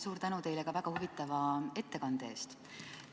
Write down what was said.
Suur tänu ka väga huvitava ettekande eest!